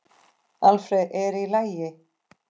Alfreð, er í lagi?